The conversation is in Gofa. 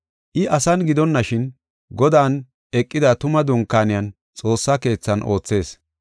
I asan gidonashin, Godan eqida tuma dunkaaniyan xoossa keethan oothees.